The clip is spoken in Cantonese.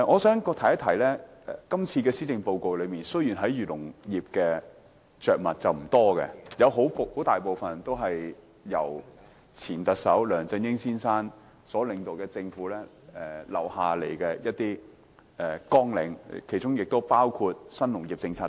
這份施政報告對漁農業着墨不多，大部分綱領都是由前特首梁振英先生所領導的政府留下的，其中包括新農業政策等。